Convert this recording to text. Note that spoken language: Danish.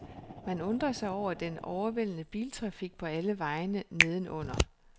Man undrer sig over den overvældende biltrafik på alle vejene neden under.